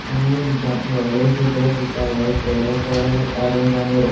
हांगा एक डा वोडलेशे घर दिसता बाय तेरा बारा ऑरेंज आणि रा --